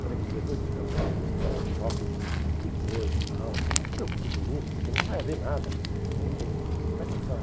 Falei com o diretor e disse, não, espera aí, isso é choque de de coisa e tal, você não se preocupe com isso, porque não vai haver nada, ele, ele vai passar.